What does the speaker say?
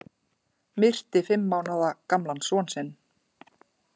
Myrti fimm mánaða gamlan son sinn